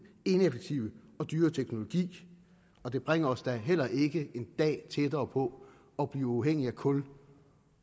ineffektive og dyre teknologi og det bringer os da heller ikke en dag tættere på at blive uafhængige af kul